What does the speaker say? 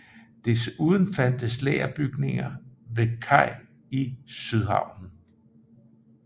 Desuden fandtes lagerbygninger ved kaj i Sydhavnen